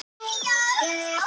Allý, hækkaðu í hátalaranum.